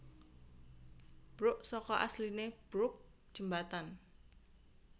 Bruk saka asline brooke jembatan